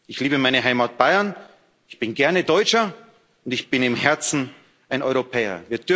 Ich liebe meine Heimat Bayern, ich bin gerne Deutscher, und ich bin im Herzen ein Europäer.